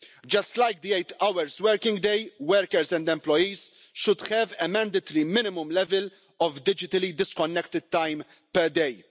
Just like the eight hour working day, workers and employees should have a mandatory minimum level of digitally disconnected time per day.